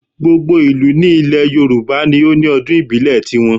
Gbogbo ìlú ní ilẹ̀ Yorùbá ni ó ní ọdún ìbílẹ̀ ti wọn